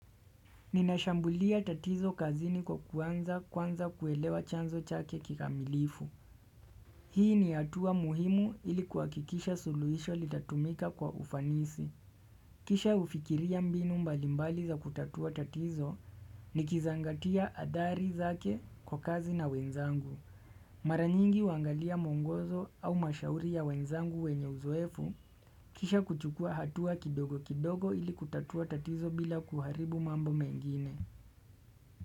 Ninashambulia tatizo kazini kwa kuanza kwanza kuelewa chanzo chake kikamilifu. Hii ni hatua muhimu ili kuakikisha suluisho litatumika kwa ufanisi. Kisha ufikiria mbinu mbalimbali za kutatua tatizo nikizangatia hatari zake kwa kazi na wenzangu. Mara nyingi uangalia muongozo au mashauri ya wenzangu wenye uzoefu. Kisha kuchukua hatua kidogo kidogo ili kutatua tatizo bila kuharibu mambo mengine.